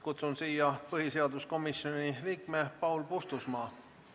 Kutsun kõnetooli põhiseaduskomisjoni liikme Paul Puustusmaa.